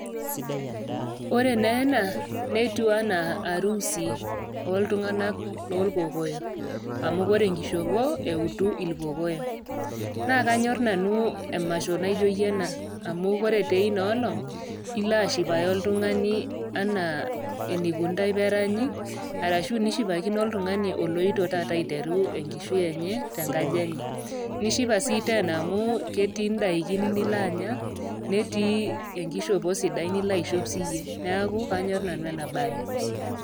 Ore naa ena, netiu anaa arusii oltung'anak loolkokoyo. Amu ore enkishopo neutu ilkokoyo. Naa kaanyor nanu emasho naijoiye ena, amu Kore teina olong', ila ashipayu oltung'ani anaa eneikunita pee eranyi, ashu nishipakino oltung'ani oloito taata aiteru enkishui enye te nkaji enye. Nishipa sii teena amu ketii indaikin nilo anya ,netii enkishopo sidai ninchopo siiyie, neaku anyor nanu ena bae.